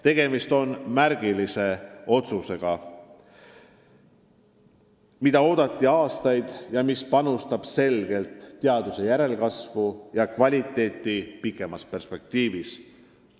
Tegemist on märgilise otsusega, mida oodati aastaid ja mis panustab selgelt teadlaskonna järelkasvu ja teaduse kvaliteeti kaugemas perspektiivis.